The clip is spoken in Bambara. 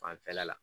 Fanfɛla la